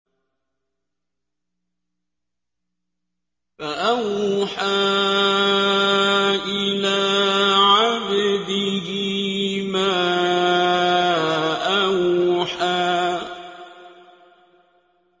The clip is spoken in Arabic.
فَأَوْحَىٰ إِلَىٰ عَبْدِهِ مَا أَوْحَىٰ